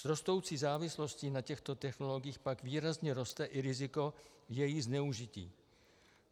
S rostoucí závislostí na těchto technologiích pak výrazně roste i riziko jejich zneužití.